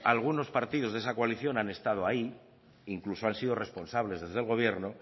algunos partidos de esta coalición han estado ahí incluso han sido responsables desde el gobierno